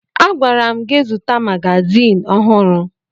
Agwara m gị zụta magazin ọhụrụ